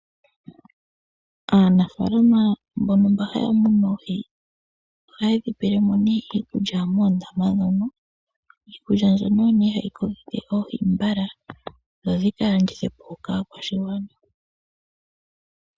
Aanafalama mbono haa munu oohi dhawo muundama ohaa pe oohi dhawo iikulya niikulya mbika ohayi kokitha oohi mbala dho dhi ka landithwe po dheete po oshimaliwa.